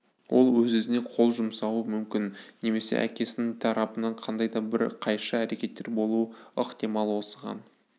ол өзіне-өзі қол жұмсауы мүмкін немесе әкесінің тарапынан қандай да бір қайшы әрекеттер болуы ықтимал осыған